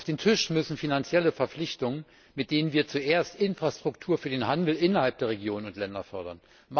Auf den Tisch müssen finanzielle Verpflichtungen, mit denen wir zuerst Infrastruktur für den Handel innerhalb der Regionen und Länder fördern.